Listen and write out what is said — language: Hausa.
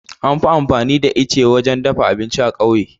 An fi amfani da itace wurin dafa abinci a ƙauye